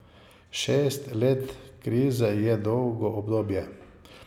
Šest let krize je dolgo obdobje.